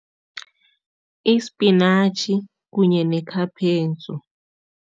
Isipinatjhi kunye